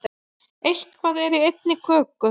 Eitthvað er í einni köku